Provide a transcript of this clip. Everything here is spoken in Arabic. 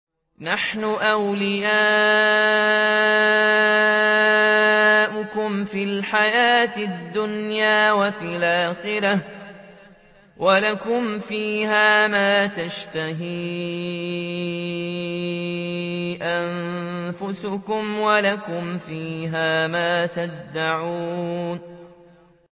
نَحْنُ أَوْلِيَاؤُكُمْ فِي الْحَيَاةِ الدُّنْيَا وَفِي الْآخِرَةِ ۖ وَلَكُمْ فِيهَا مَا تَشْتَهِي أَنفُسُكُمْ وَلَكُمْ فِيهَا مَا تَدَّعُونَ